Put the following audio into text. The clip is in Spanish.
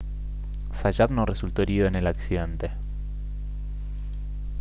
zayat no resultó herido en el accidente